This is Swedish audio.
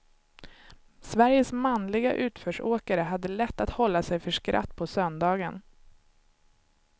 Sveriges manliga utförsåkare hade lätt att hålla sig för skratt på söndagen.